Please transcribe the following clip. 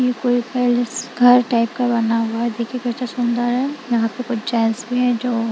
घर टाइप का बना हुआ है देखिए यहां पे कुछ चेंज नहीं है जो --